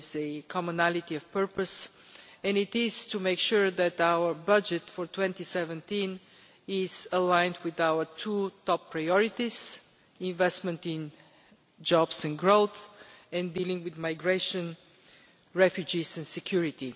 There is a commonality of purpose which is to make sure that our budget for 2017 is aligned with our two top priorities investment in jobs and growth and dealing with migration, refugees and security.